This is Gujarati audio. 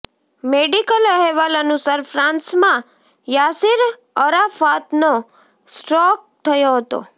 મેડિકલ અહેવાલ અનુસાર ફ્રાન્સમાં યાસિર અરાફાતનો સ્ટ્રોક થયો હતો